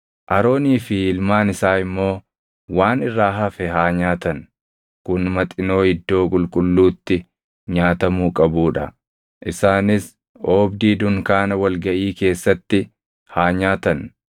Aroonii fi ilmaan isaa immoo waan irraa hafe haa nyaatan; kun maxinoo iddoo qulqulluutti nyaatamuu qabuu dha; isaanis oobdii dunkaana wal gaʼii keessatti haa nyaatan.